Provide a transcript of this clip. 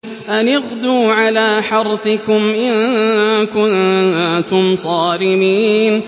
أَنِ اغْدُوا عَلَىٰ حَرْثِكُمْ إِن كُنتُمْ صَارِمِينَ